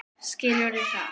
Skilurðu það?